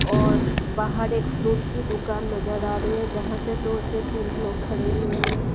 और बाहर एक फ्रूट की दुकान नजर आ रही है यहाँ से दो से तीन लोग खड़े हुए हैं।